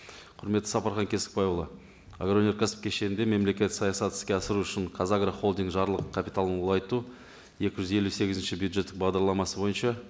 құрметті сапархан кесікбайұлы агроөнеркәсіп кешеңінде мемлекеттік саясатты іске асыру үшін қазагро холдинг жарлық капиталын ұлғайту екі жүз елу сегізінші бюджеттік бағдарламасы бойынша